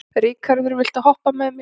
Ríkharður, viltu hoppa með mér?